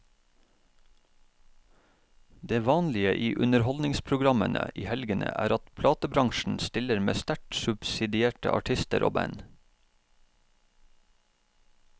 Det vanlige i underholdningsprogrammene i helgene er at platebransjen stiller med sterkt subsidierte artister og band.